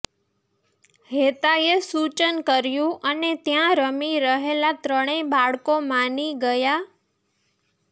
હેતાએ સૂચન કર્યું અને ત્યાં રમી રહેલાં ત્રણેય બાળકો માની ગયાં